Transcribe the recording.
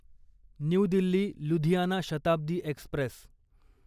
new Delhi Ludhiana Shatabdi Express